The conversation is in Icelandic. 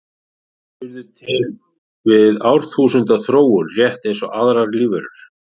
Kettir urðu til við árþúsunda þróun rétt eins og aðrar lífverur.